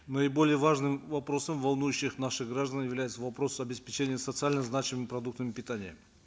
наиболее важным вопросом волнующим наших граждан является вопрос обеспечения социально значимыми продуктами питания